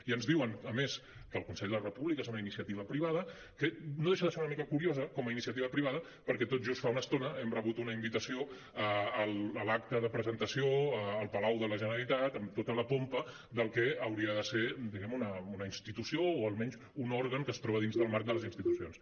i ens diuen a més que el consell de la república és una iniciativa privada que no deixa de ser una mica curiosa com a iniciativa privada perquè tot just fa una estona hem rebut una invitació a l’acte de presentació al palau de la generalitat amb tota la pompa del que hauria de ser diguem ne una institució o almenys un òrgan que es troba dins del marc de les institucions